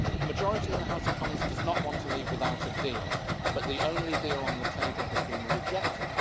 A majority in the House of Commons does not want to leave without a deal, but the only deal on the table has been rejected.